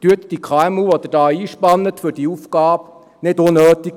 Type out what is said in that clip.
Brüskieren Sie die KMU, die Sie für diese Aufgabe einspannen, nicht unnötig.